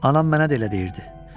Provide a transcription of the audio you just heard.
Anam mənə də elə deyirdi.